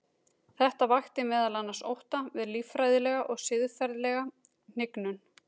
Þetta vakti meðal annars ótta við líffræðilega og siðferðilega hnignun.